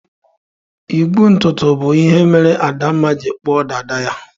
Igwu ntutu bụ ihe mere Adanma ji kpuo dada ya.